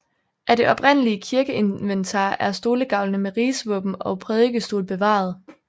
Af det oprindelige kirkeinventar er stolegavlene med rigsvåben og prædikestol bevaret